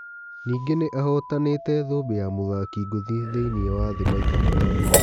Ningĩ nĩ ahotanĩ te thũmbĩ ya mũthaki ngũthi thĩ iniĩ wa thĩ maita matano